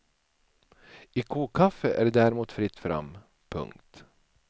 I kokkaffe är det däremot fritt fram. punkt